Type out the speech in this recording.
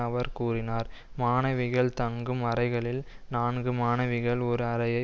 அவர் கூறினார் மாணவிகள் தங்கும் அறைகளில் நான்கு மாணவிகள் ஒரு அறையை